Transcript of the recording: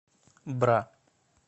бра